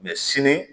Mɛ sini